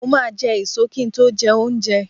Mo máa n je èso ki n to jé oúnje